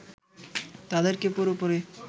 তাদেরকে পুরোপুরি